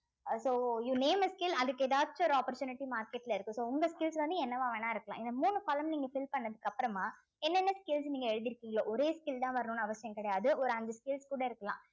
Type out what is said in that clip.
ah so you name a skill அதுக்கு எதாச்சு ஒரு opportunity market ல இருக்கு so உங்க skills வந்து என்னவா வேணா இருக்கலாம் இந்த மூணு column நீங்க fill பண்ணதுக்கு அப்புறமா என்னனென்ன skills நீங்க எழுதிருக்கீங்களோ ஒரே skill தான் வரணும்ன்னு அவசியம் கிடையாது ஒரு அஞ்சு skills கூட இருக்கலாம்